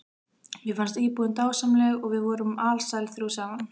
Mér fannst íbúðin dásamleg og við vorum alsæl þrjú saman.